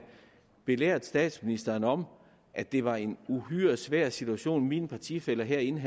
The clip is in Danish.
belært statsministeren om at det var en uhyre svær situation mine partifæller herinde